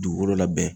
Dugukolo labɛn